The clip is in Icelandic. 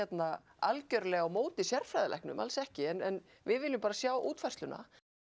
algerlega á móti sérfræðilæknum alls ekki en við viljum bara sjá útfærsluna